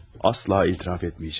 Asla etiraf etməyəcəm.